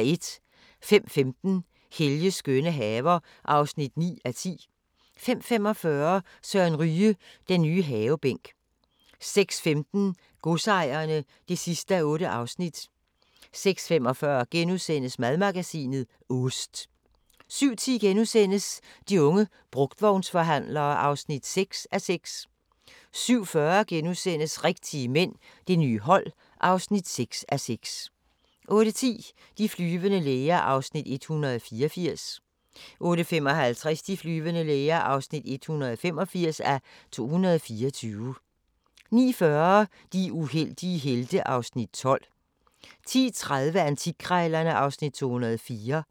05:15: Helges skønne haver (9:10) 05:45: Søren Ryge – den nye havebænk 06:15: Godsejerne (8:8) 06:45: Madmagasinet – Ost * 07:10: De unge brugtvognsforhandlere (6:6)* 07:40: Rigtige mænd – det nye hold (6:6)* 08:10: De flyvende læger (184:224) 08:55: De flyvende læger (185:224) 09:40: De uheldige helte (Afs. 12) 10:30: Antikkrejlerne (Afs. 204)